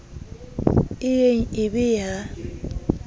e yeng e be ya